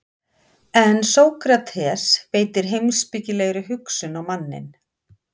en sókrates beitir heimspekilegri hugsun á manninn